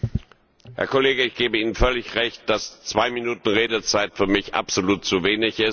Herr Kollege, ich gebe Ihnen völlig recht, dass zwei Minuten Redezeit für mich absolut zu wenig sind.